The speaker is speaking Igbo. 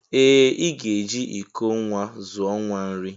Ee ị ga-eji iko nwa zụọ nwa nri